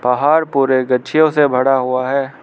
पहाड़ पूरे गछियों से भरा हुआ है।